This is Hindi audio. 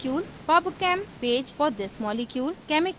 pubchem page for the molecule